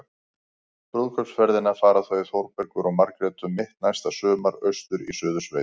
Brúðkaupsferðina fara þau Þórbergur og Margrét um mitt næsta sumar- austur í Suðursveit.